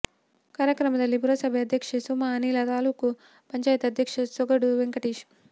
ಕಾರ್ಯಕ್ರಮದಲ್ಲಿ ಪುರಸಭೆ ಅಧ್ಯಕ್ಷೆ ಸುಮಾ ಅನಿಲ್ ತಾಲ್ಲೂಕು ಪಂಚಾಯಿತಿ ಅಧ್ಯಕ್ಷ ಸೊಗಡು ವೆಂಕಟೇಶ್